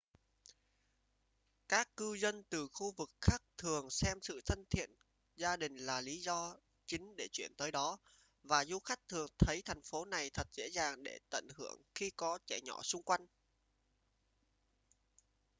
các cư dân từ khu vực khác thường xem sự thân thiện gia đình là lý do chính để chuyển tới đó và du khách thường thấy thành phố này thật dễ dàng để tận hưởng khi có trẻ nhỏ xung quanh